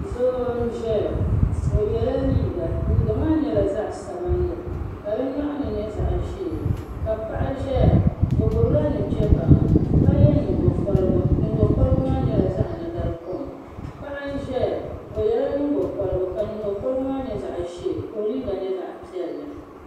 Doo n ʒɛya o yela liiga liiga maa nyɛla zaɣa sabinli ka di nyɔɣani nyɛ zaɣa ʒee ka paɣa ʒɛya o gbibila nuchebaŋa ka ye nyingokoligu nyingokoligu maa nyɛla zaɣa nagarikom paɣa n ʒɛya o yela nyingokoligu ka nyingokoligu maa nyɛ zaɣa ʒee ka o liiga nyɛ zaɣa piɛlli.